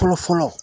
Fɔlɔ fɔlɔ